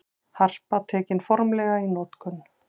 Harpa tekin formlega í notkun